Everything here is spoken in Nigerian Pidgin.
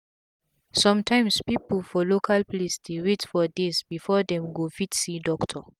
sum tyms pipu for local place dey wait for days before dem go fit see doctor